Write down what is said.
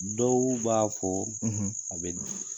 Dɔwu b'a fɔ a bɛ di ?